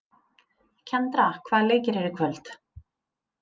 Kendra, hvaða leikir eru í kvöld?